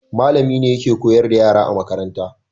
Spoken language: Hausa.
Mallami ne yake koyar da yara a makaranta